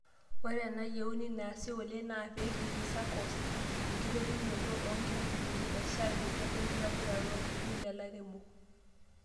Ore enayieuni neasi oleng naa peigeri SACCOS, enkitopiunoto oo nkapunini e shaai tenebo enktobirata oo iltururi loo lairemok.